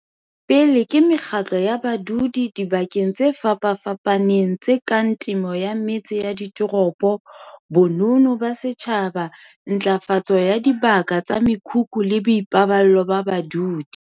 Pele ke mekgatlo ya badudi dibakeng tse fapafapaneng tse kang temo ya metse ya ditoropo, bonono ba setjhaba, ntlafatso ya dibaka tsa mekhukhu le boipaballo ba badudi.